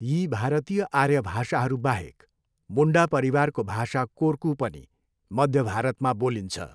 यी भारतीय आर्य भाषाहरू बाहेक, मुन्डा परिवारको भाषा कोर्कु पनि मध्य भारतमा बोलिन्छ।